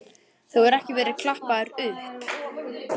Þú hefur ekki verið klappaður upp?